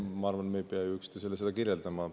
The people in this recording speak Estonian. Ma arvan, et me ei pea üksteisele seda kirjeldama.